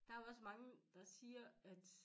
Der jo også bare der siger at